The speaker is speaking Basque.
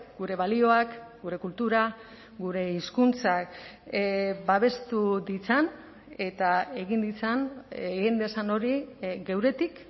gure balioak gure kultura gure hizkuntzak babestu ditzan eta egin ditzan egin dezan hori geuretik